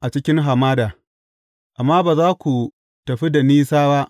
a cikin hamada, amma ba za ku tafi da nisa ba.